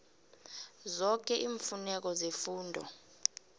zoke iimfuneko zefundo